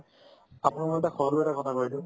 আপোনাৰ মতে সৰু এটা ঘটনা হয় এইটো